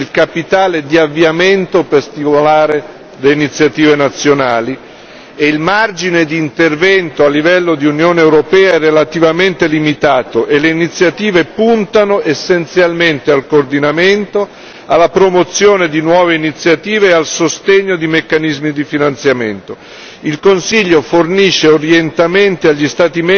L'iniziativa a favore dell'occupazione giovanile costituisce il capitale di avviamento per stimolare le iniziative nazionali e il margine di intervento a livello di Unione europea è relativamente limitato e le iniziative puntano essenzialmente al coordinamento, alla promozione di nuove iniziative e al sostegno di meccanismi di finanziamento.